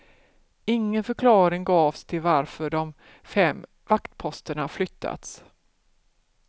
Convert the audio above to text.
Ingen förklaring gavs till varför de fem vaktposterna flyttats.